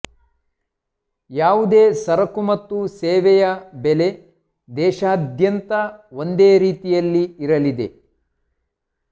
ಯಾವುದೇ ಸರಕು ಮತ್ತು ಸೇವೆಯ ಬೆಲೆ ದೇಶದಾದ್ಯಂತ ಒಂದೇ ರೀತಿಯಲ್ಲಿ ಇರಲಿದೆ